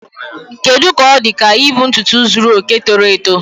Kedu ka ọ dị ka ibu ntutu zuru oke toro eto?